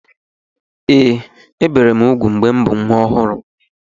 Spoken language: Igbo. Ee, ebi m úgwù mgbe m bụ nwa ọhụrụ.